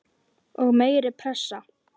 Og meiri pressa?